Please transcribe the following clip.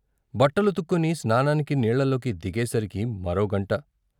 బట్టలు ఉత్తుకొని స్నానానికి నీళ్ళలోకి దిగేసరికి మరోగంట.